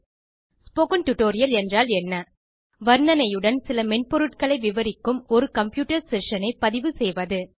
spoken tutorial என்றால் என்ன வர்ணனையுடன் சில மென்பொருட்களை விவரிக்கும் ஒரு கம்ப்யூட்டர் செஷன் ஐ பதிவு செய்வது